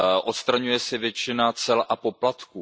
Odstraňuje se většina cel a poplatků.